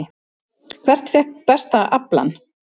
Hvert fékk besta aflann?